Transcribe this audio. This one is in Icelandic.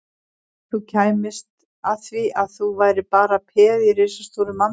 Ef þú kæmist að því að þú værir bara peð í risastóru manntafli